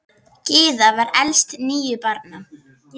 Gyða var elst níu barna.